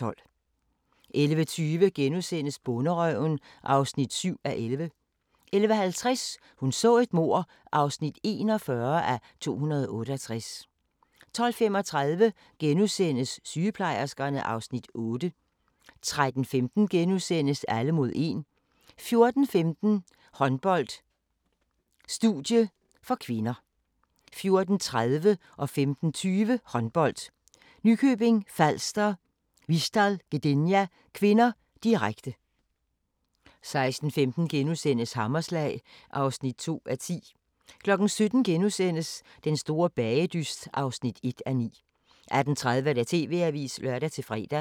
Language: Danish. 11:20: Bonderøven (7:11)* 11:50: Hun så et mord (41:268) 12:35: Sygeplejerskerne (Afs. 8)* 13:15: Alle mod 1 * 14:15: Håndbold: Studie (k) 14:30: Håndbold: Nykøbing Falster-Vistal Gdynia (k), direkte 15:20: Håndbold: Nykøbing Falster-Vistal Gdynia (k), direkte 16:15: Hammerslag (2:10)* 17:00: Den store bagedyst (1:9)* 18:30: TV-avisen (lør-fre)